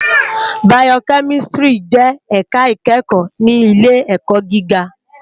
Bàyókèmìsítìrí jè èká ikèékò ni ilé èkò gigá